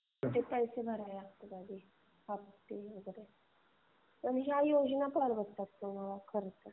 पैसे वगैरे पैसे भरावे लागतील पहिले. हफ्ते वगैरे. पण या योजना होऊन जाते. तुम्हाला खर्च वगैरे.